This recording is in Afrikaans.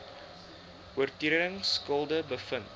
oortredings skuldig bevind